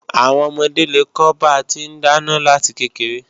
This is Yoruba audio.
Àwọn ọmọdé lè kọ́ ba ti ń dáná láti kékeré